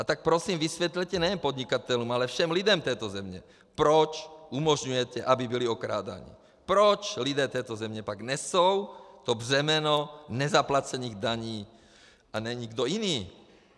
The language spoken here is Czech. A tak prosím vysvětlete nejen podnikatelům, ale všem lidem této země, proč umožňujete, aby byli okrádáni, proč lidé této země pak nesou to břemeno nezaplacených daní, a ne nikdo jiný.